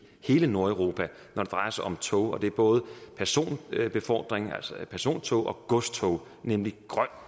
hele nordeuropa når det drejer sig om tog og det er både personbefordring altså persontog og godstog nemlig grøn